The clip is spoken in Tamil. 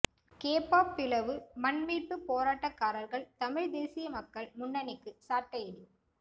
கேப்பாப்பிலவு மண்மீட்புப் போராட்டக்காரர்கள் தமிழ்த் தேசிய மக்கள் முன்னணிக்கு சாட்டையடி